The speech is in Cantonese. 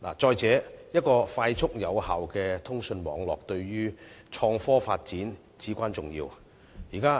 再者，一個快速有效的通訊網絡，對創科發展至為重要。